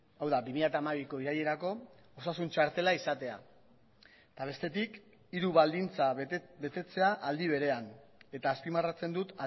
hau da bi mila hamabiko irailerako osasun txartela izatea eta bestetik hiru baldintza betetzea aldi berean eta azpimarratzen dut